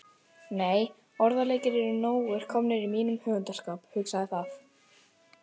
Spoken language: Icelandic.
Nei, orðaleikir eru nógir komnir í mínum höfundskap, hugsaði það.